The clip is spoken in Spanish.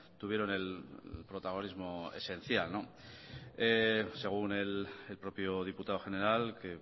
tuvieron el protagonismo esencial según el propio diputado general que